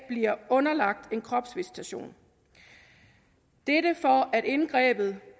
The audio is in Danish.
blive underlagt en kropsvisitering dette for at indgrebet